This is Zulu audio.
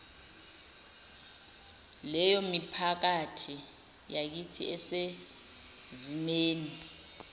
leyomiphakathi yakithi esezimeni